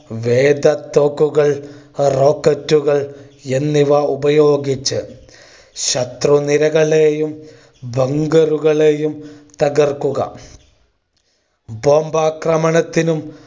വേഗ തോക്കുകൾ rocket കൾ എന്നിവ ഉപയോഗിച്ചു ശത്രു നിരകളെയും ബങ്കറുകളെയും തകർക്കുക. bomb ആക്രമണത്തിനും